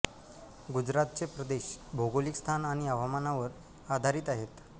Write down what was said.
गुजरातचे प्रदेश भौगोलिक स्थान आणि हवामानावर आधारित आहेत